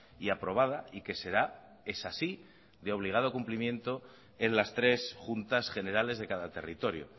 y aprobada y que será es así de obligado cumplimiento en las tres juntas generales de cada territorio